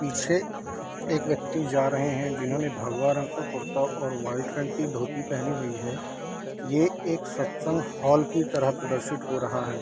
पीछे एक व्यक्ति जा रहे हैं जिन्होंने भगवा रंग का कुरता और वाइट पेंट की धोती पहनी हुई है। ये एक सत्संग हॉल की तरह प्रदर्शित हो रहा है।